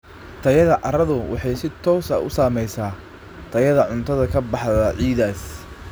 Tayada carradu waxay si toos ah u saamaysaa tayada cuntada ka baxda ciiddaas.